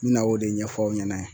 N bi na o de ɲɛfɔ aw ɲɛna.